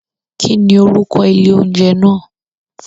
Kín ni orúkọ ilé oúnjẹ náà?